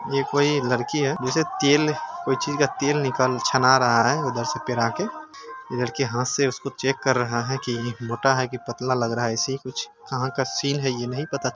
ये कोई लड़की है जैसे तेल कोई चीज का तेल निकाल छना रहा है उधर से पेरा के। ये लड़का हाथ से उसको चेक कर रहा है की मोटा है की पतला लग रहा है ऐसा ही कुछ कहाँ का सीन है ये नहीं पता चल--